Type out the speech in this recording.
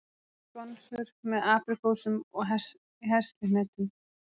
Skonsur með apríkósum og heslihnetum